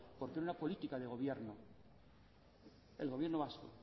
por una política de gobierno el gobierno vasco